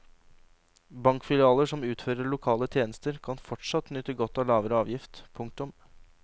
Bankfilialer som utfører lokale tjenester skal fortsatt nyte godt av lavere avgift. punktum